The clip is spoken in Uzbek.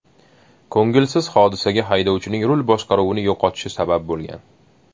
Ko‘ngilsiz hodisaga haydovchining rul boshqaruvini yo‘qotishi sabab bo‘lgan.